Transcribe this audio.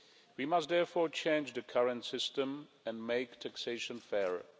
We must, therefore, change the current system and make taxation fairer.